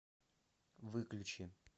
выключи